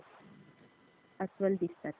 अस्वल दिसतात.